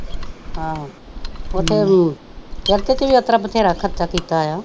ਉੱਥੇ ਅਮ ਚਰਚ ਵੀ ਉਸਤਰਾ ਬਥੇਰਾ ਖਰਚਾ ਕੀਤਾ ਆ।